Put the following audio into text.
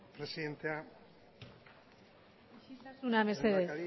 presidentea lehendakari